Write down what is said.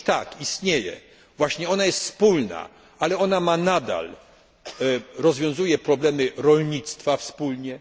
Otóż tak, istnieje, właśnie ona jest wspólna, ale ona nadal rozwiązuje problemy rolnictwa wspólnie.